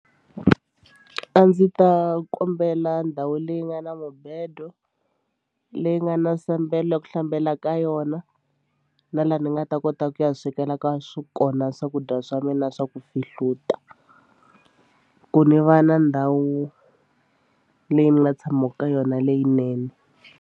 A ndzi ta kombela ndhawu leyi nga na mubedo leyi nga na sambelo ya ku hlambela ka yona na laha ni nga ta kota ku ya swekela ka swo kona swakudya swa mina swa ku fihluta ku ni va na ndhawu leyi ni nga tshamaka ka yona leyinene.